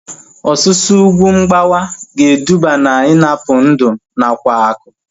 Ọsusu ugwu mgbawa ga-eduba na ịnapụ ndụ nakwa akụ